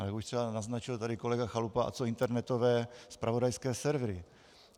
Ale jak už třeba naznačil tady kolega Chalupa, a co internetové zpravodajské servery?